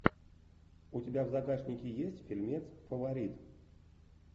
у тебя в загашнике есть фильмец фаворит